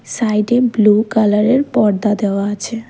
সাইডে ব্লু কালারের পর্দা দেওয়া আছে।